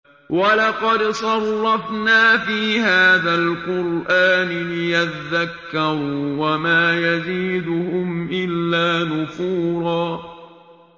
وَلَقَدْ صَرَّفْنَا فِي هَٰذَا الْقُرْآنِ لِيَذَّكَّرُوا وَمَا يَزِيدُهُمْ إِلَّا نُفُورًا